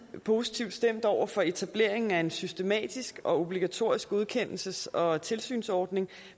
positivt stemt over for etableringen af en systematisk og obligatorisk godkendelses og tilsynsordning